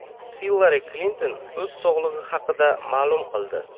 Hillari Klinton o‘z sog‘lig‘i haqida ma’lum qildi.